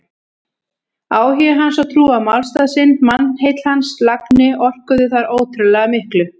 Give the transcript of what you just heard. Áhugi hans og trú á málstað sinn, mannheill hans og lagni orkuðu þar ótrúlega miklu.